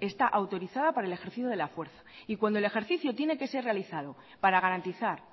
está autorizada para el ejercicio de la fuerza y cuando el ejercicio tiene que ser realizado para garantizar